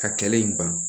Ka kɛlɛ in ban